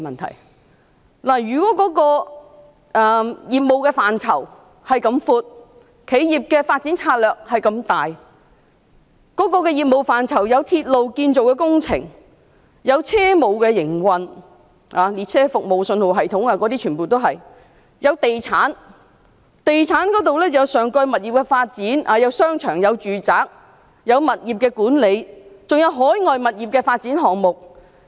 港鐵公司的業務範疇很闊，企業的發展策略也很廣，其業務範疇包括鐵路建造工程、車務營運、列車服務、信號系統，亦包括地產方面，例如上蓋物業的發展、商場和住宅物業管理，還有海外物業的發展項目。